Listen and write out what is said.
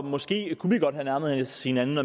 måske godt have nærmet os hinanden